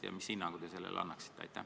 Millise hinnangu te sellele annaksite?